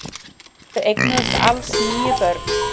Þau eignuðust alls níu börn.